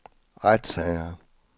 retssager